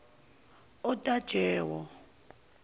otajewo